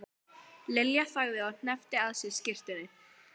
Lilja þagði og hneppti að sér skyrtunni.